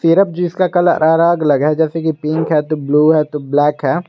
जिस का कलर अलग अलग है जैसे पिंक है तो ब्लू है तो ब्लैक है।